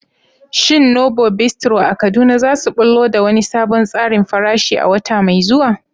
Shin Novo Bistro a Kaduna za su ɓullo da wani sabon tsarin farashi a wata mai zuwa?